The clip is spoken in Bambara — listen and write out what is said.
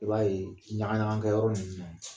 I b'a ye ɲaga ɲaga kɛ yɔrɔ ninnu na yen.